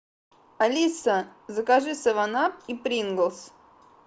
алиса закажи севен ап и приглс